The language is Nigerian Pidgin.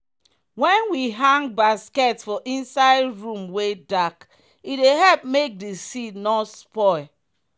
wen we hang basket for inside room wey dark e dey help make di seed nor spoil.